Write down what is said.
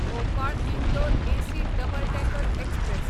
Bhopal Indore AC double decker express